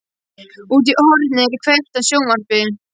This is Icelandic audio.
Úti í horni er kveikt á sjónvarpi.